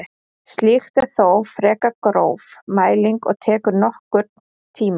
Slíkt er þó frekar gróf mæling og tekur nokkurn tíma.